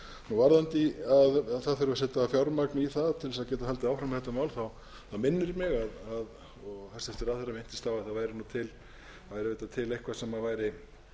í varðandi það að setja þurfi fjármagn í það til að geta haldið áfram með þetta mál þá minnir mig og hæstvirtur ráðherra minntist á að það væri til eitthvað sem væri